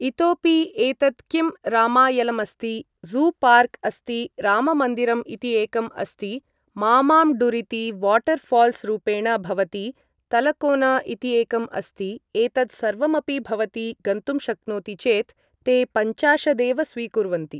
इतोपि एतद् किं रामायलमस्ति ज़ू पार्क् अस्ति राममन्दिरम् इति एकम् अस्ति मामाम्ण्डुरिति वाटर् ऴाल्स् रूपेण भवति तलकोन इति एकम् अस्ति एतत् सर्वमपि भवती गन्तुं शक्नोति चेत् ते पञ्चाशदेव स्वीकुर्वन्ति